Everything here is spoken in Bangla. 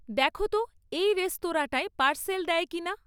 দেখো তো এই রেস্তরাঁটায় পার্সেল দেয় কি না